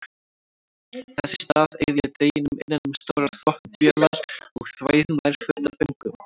Þess í stað eyði ég deginum innan um stórar þvottavélar og þvæ nærföt af föngum.